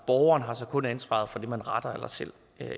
borgeren har så kun ansvaret for det man retter eller selv